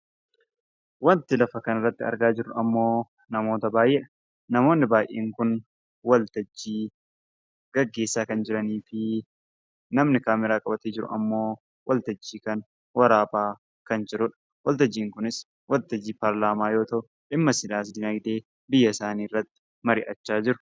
Wanti lafa kana irratti argaa jirru ammoo namoota baay'eedha. Namoonni baay'een kun waltajjii gaggeessaa kan jiraniifi namni kaameeraa qabatee jiru ammoo waltajjii kana waraabaa kan jiruudha. Waltajjiin kunis waltajjii paarlaamaa yoo ta'u, dhimma siyaas-dinagdee biyya isaanii irratti mari'achaa jiru.